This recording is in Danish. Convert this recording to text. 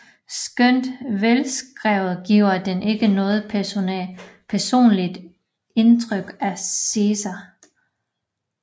Skønt velskrevet giver den ikke noget personligt indtryk af Cæsar